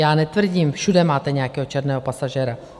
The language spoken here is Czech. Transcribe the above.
Já netvrdím, všude máte nějakého černého pasažéra.